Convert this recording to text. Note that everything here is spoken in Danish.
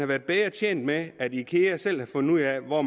været bedre tjent med at ikea selv havde fundet ud af hvor